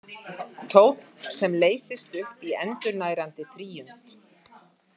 Tónn, sem leysist upp í endurnærandi þríund.